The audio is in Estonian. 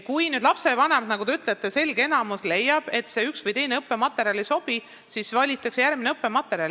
Kui lapsevanemate selge enamus, nagu te ütlete, leiab, et üks või teine õppematerjal ei sobi, siis valitakse muu õppematerjal.